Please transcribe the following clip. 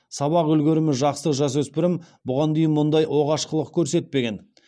сабақ үлгерімі жақсы жасөспірім бұған дейін мұндай оғаш қылық көрсетпеген